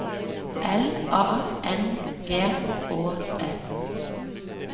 L A N G Å S